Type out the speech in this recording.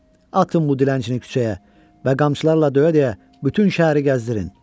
Atın bu dilənçini küçəyə və qamçılarla döyə-döyə bütün şəhəri gəzdirin.